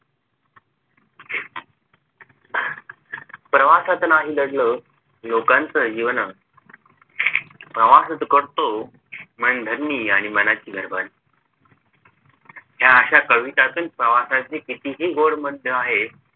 प्रवासात नाही दडलं लोकांच जीवन प्रवासात करतो मनधरणी आणि मनाची ह्या अशा कवितांतून प्रवाशाची किती हि गोड मनषा आहे